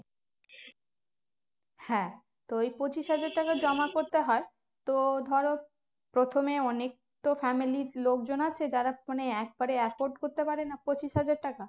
হ্যাঁ তো ওই পঁচিশ হাজার টাকা জমা করতে হয় তো ধরো প্রথমে অনেক তো family র লোকজন আছে যারা phone এ এক বাড়ে এতো করতে পারেনা পঁচিশ হাজার টাকা